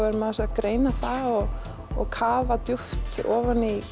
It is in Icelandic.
erum aðeins að greina það og og kafa djúpt ofan í